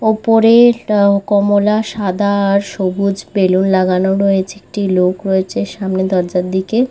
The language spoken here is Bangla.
উপরে-এ ট কমলা সাদা আর সবুজ বেলুন লাগানো রয়েছে একটি লোক রয়েছে সামনে দরজার দিকে-এ।